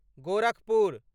Gorakhpur